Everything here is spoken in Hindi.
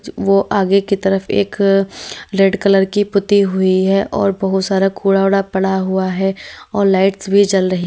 वो आगे की तरफ एक रेड कलर की पुती हुई है और बहुत सारा कूड़ावूडा पड़ा हुआ है और लाइट्स भी जल रही--